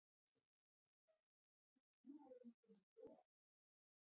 Verða bestu trúnaðarvinkonur veraldarinnar.